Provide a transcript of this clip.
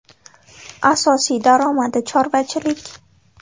Asosiy daromadi chorvachilik.